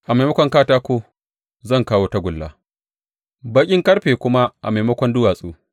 A maimakon katako zan kawo tagulla, baƙin ƙarfe kuma a maimakon duwatsu.